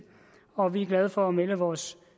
og vi er glade for at melde vores